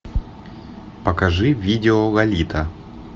покажи видео лолита